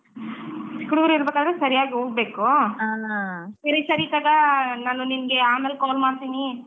ಕುರ್ಡೂರ್ ಇರ್ಬೇಕಾದ್ರೆ ಸರಿಯಾಗಿ ಹೋಗ್ಬೇಕು ಸರಿ ತಗೊ ನಿಂಗ್ ನಾನ್ ಆಮೇಲ್ call ಮಾಡ್ತಿನಿ.